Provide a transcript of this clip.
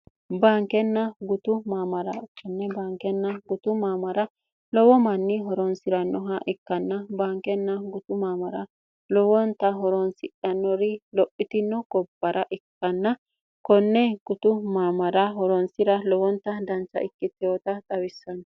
baankenna gutu maamara konne baankenna gutu maamara lowo manni horonsi'rannoha ikkanna baankenna gutu maamara lowonta horoonsidhanori lophitino gobbara ikkanna konne gutu maamara horoonsira lowonta dancha ikkittewoota xawissanno